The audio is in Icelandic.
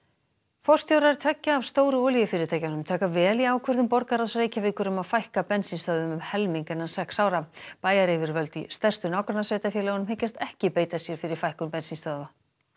forstjórar tveggja af stóru olíufyrirtækjunum taka vel í ákvörðun borgarráðs Reykjavíkur um að fækka bensínstöðvum um helming innan sex ára bæjaryfirvöld í stærstu nágrannasveitarfélögunum hyggjast ekki beita sér fyrir fækkun bensínstöðva